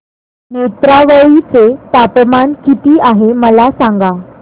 नेत्रावळी चे तापमान किती आहे मला सांगा